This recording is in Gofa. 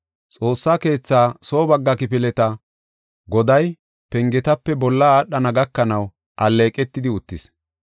Xoossa keetha soo bagga kifileta goday, pengetape bolla aadhana gakanaw alleeqetidi uttis.